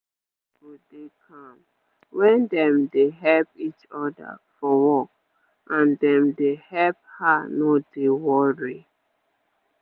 wait area go dey calm wen dem dey help each other for work and dem dey help her no dey worry